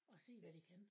Og se hvad det kan